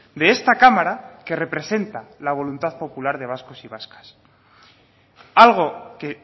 de esta cámara que representa la voluntad popular de vascos y vascas algo que